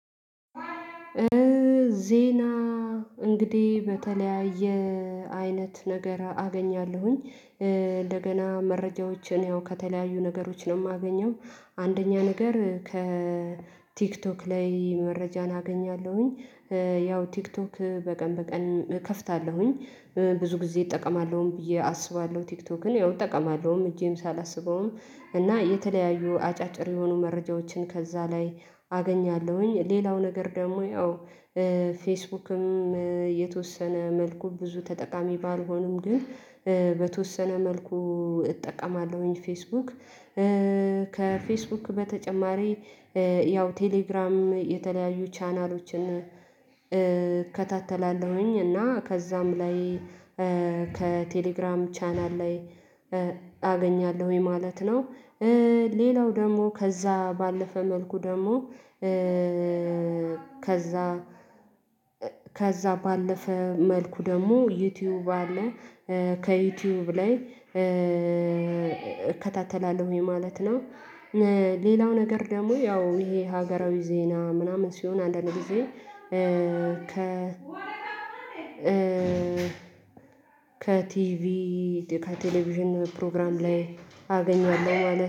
ዜና እንግዲህ በተለያየ አይነት ነገር አገኛለሁኝ እንደገና መረጃዎችን ያው ከተለያዩ ነገሮች ነው የማገኘው። አንደኛ ነገር ከቲክቶክ ላይ መረጃን አገኛለሁኝ። ያው ቲክቶክ በቀን በቀን እከፍታለሁኝ ብዙ ጊዜ እጠቀማለሁም ብዬ አስባለሁ ቲክቶክን ያው እጠቀማለሁም እጄም ሳላስበውም እና የተለያዩ አጫጭር የሆኑ መረጃዎችን ከዛ ላይ አገኛለሁኝ። ሌላው ነገር ደግሞ ያው ፌስቡክም የተወሰነ መልኩ ብዙ ተጠቃሚ ባልሆንም ግን በተወሰነ መልኩ እጠቀማለሁኝ ፌስቡክ። ከፌስቡክ በተጨማሪ ያው ቴሌግራም የተለያዩ ቻናሎችን እከታተላለሁኝ እና ከዛም ላይ ከቴሌግራም ቻናል ላይ አገኛለሁኝ ማለት ነው። ሌላው ደግሞ ከዛ ባለፈ መልኩ ደግሞ ከዛ ከዛ ባለፈ መልኩ ደግሞ ዩቲዩብ አለ ከዩቲዩብ ላይ እከታተላለሁኝ ማለት ነው። ሌላው ነገር ደግሞ ያው ይሄ ሀገራዊ ዜና ምናምን ሲሆን አንዳንድ ጊዜ ከ ከቲቪ ከቴሌቪዥን ፕሮግራም ላይ አገኘዋለሁ ማለት